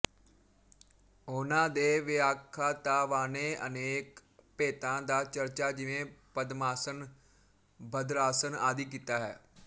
ਉਹਨਾਂ ਦੇ ਵਿਆੱਖਾਤਾਵਾਂਨੇ ਅਨੇਕ ਭੇਤਾਂ ਦਾ ਚਰਚਾ ਜਿਵੇਂ ਪਦਮਾਸਨ ਭਦਰਾਸਨ ਆਦਿ ਕੀਤਾ ਹੈ